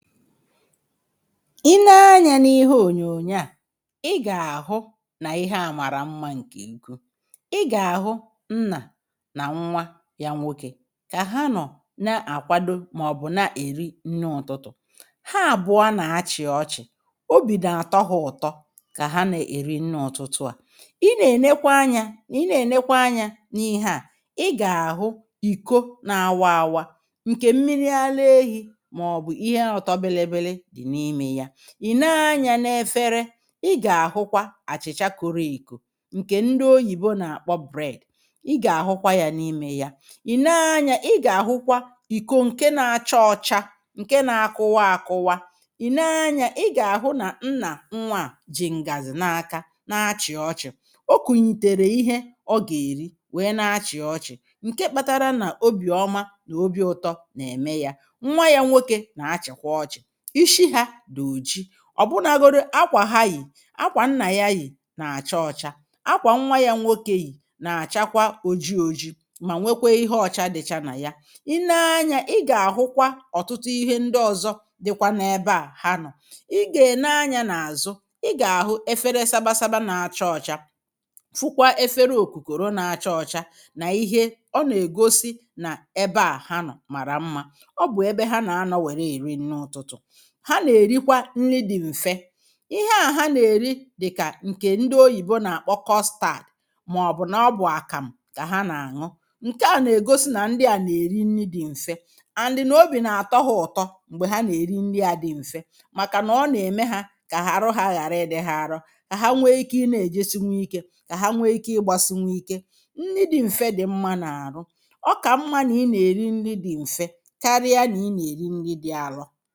i nee anyȧ n’ihe ònyònyo à i gà-àhụ nà ihe à màrà mmȧ ǹkè ego i gà-àhụ nnà nà nnwa yȧ nwokė kà ha nọ̀ na-àkwado màọbụ̀ na-èri nni ụ̀tụtụ̀ ha àbụọ a nà-achị̀ ọchị̀ obì dà àtọ ha ụ̀tọ kà ha nà-èri nni ụ̀tụtụ à i nà-ènekwa anyȧ i nà-ènekwa anyȧ n’ihe à i gà-àhụ ìko na-awa àwà ǹkè mmiri àla ehi̇ ìne anyȧ na-efere ị gà-àhụkwa àchìcha koro ìkù ǹkè ndị oyìbo nà-àkpọ bread ị gà-àhụkwa yȧ n’ime ya ìne anyȧ ị gà-àhụkwa ìkò ǹke na-achọ ọcha ǹke nȧ-akụwa àkụwa ìne anyȧ ị gà-àhụ nà nnà nwa à jì ǹgàzụ̀ na-aka na-achị̀ ọchị̀ ọkụ̀ nyìtèrè ihe ọ gà-èri wèe na-achị̀ ọchị̀ ǹke kpatara nà obì ọma nà obi̇ ụtọ nà-ème ya ọ̀ bụnagodu akwà ha yì, akwà n nà ya yì nà-àcha ọcha akwà nwa ya nwokė yì nà-àchakwa oji ojii mà nwekwe ihe ọcha dịcha nà ya i nee anyȧ ị gà-àhụkwa ọ̀tụtụ ihe ndị ọzọ dịkwa n’ebe à ha nọ̀ ị gà-ènee anyȧ n’àzụ ị gà-àhụ efere sabasaba nà-acha ọ̀cha fụkwa efere òkùkòrò nà-acha ọ̀cha nà ihe ọ nà-ègosi nà ebe à ha nọ̀ màrà mmȧ ha nà-èrikwa nri dị̀ m̀fe ihe à ha nà-èri dị̀kà ǹkè ndị oyìbo nà-àkpọ kọstad màọbụ̀ nà ọbụ̀ àkàm̀ kà ha nà-àṅụ ǹke à nà-ègosi nà ndị à nà-èri nri dị̀ m̀fe and nà obì nà-àtọghọ̀ ụ̀tọ m̀gbè ha nà-èri nri à dị̀ m̀fe màkà nà ọ nà-ème hȧ kà àrụ ha ghàra ị dị̇ ha arọ kà ha nwee ike ịnȧ-èje sinwuo ike kà ha nwee ike ịgbȧ sinwuo ike nri dị̇ m̀fe dị̀ mmȧ nà-àrụ ọkà mmȧ nà ị nà-èri nri dị̇ m̀fe karịa nà ị nà-èri nri dị̇ àrọ